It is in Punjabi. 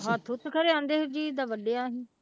ਹੱਥ ਹੁੱਥ ਖਰੇ ਕਹਿੰਦੇ ਹਰਜੀਤ ਦਾ ਵੱਢਿਆ ਸੀ।